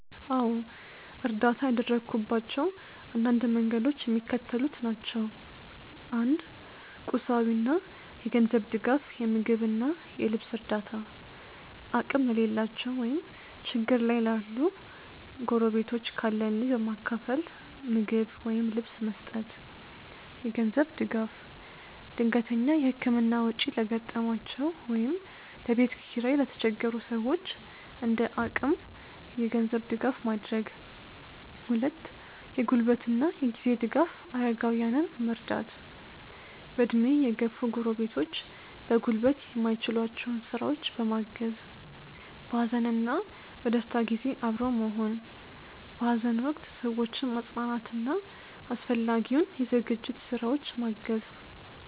.አዎ፣ እርዳታ ያደረግኩባቸው አንዳንድ መንገዶች የሚከተሉት ናቸው፦ 1. ቁሳዊና የገንዘብ ድጋፍ የምግብና የልብስ እርዳታ፦ አቅም ለሌላቸው ወይም ችግር ላይ ላሉ ጎረቤቶች ካለን ላይ በማካፈል ምግብ ወይም ልብስ መስጠት። የገንዘብ ድጋፍ፦ ድንገተኛ የሕክምና ወጪ ለገጠማቸው ወይም ለቤት ኪራይ ለተቸገሩ ሰዎች እንደ አቅም የገንዘብ ድጋፍ ማድረግ። 2. የጉልበትና የጊዜ ድጋፍ አረጋውያንን መርዳት፦ በዕድሜ የገፉ ጎረቤቶች በጉልበት የማይችሏቸውን ሥራዎች በማገዝ። በሐዘንና በደስታ ጊዜ አብሮ መሆን፦ በሐዘን ወቅት ሰዎችን ማጽናናትና አስፈላጊውን የዝግጅት ሥራዎች ማገዝ